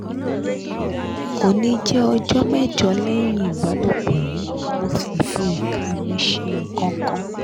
oni je ọjọ́ mẹ́jọ lẹ́yìn ìbálòpọ̀ yi mo si fi ika mi ṣe nǹkan kan